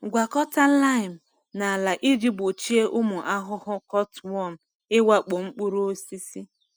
Gwakọta lime na ala iji gbochie ụmụ ahụhụ cutworm ịwakpo mkpụrụ osisi.